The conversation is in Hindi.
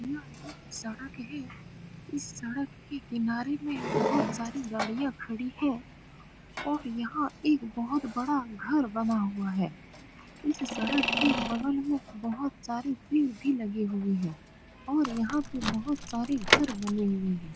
यहा एक सड़क है इस सड़क के किनारे में बहुत सारी गाड़ियाँ खड़ी है और यहाँ एक बहुत बड़ा घर बना हुआ है इस सड़क के बगल में बहुत सारे पेड़ भी लगे हुए हैं और यहाँ बहुत सारे घर बने हुए हैं।